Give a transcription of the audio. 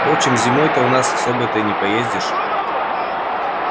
впрочем зимой-то у нас не особо-то и поездишь